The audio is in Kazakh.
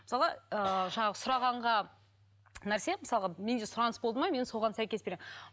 мысалы ыыы жаңағы сұрағанға нәрсе мысалға менде сұраныс болды ма мен соған сәйкес келемін